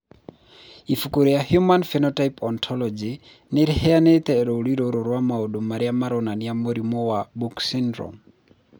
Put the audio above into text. Ibuku rĩa The Human Phenotype Ontology nĩ rĩheanĩte rũũri rũrũ rwa maũndũ marĩa maronania mũrimũ wa Book syndrome.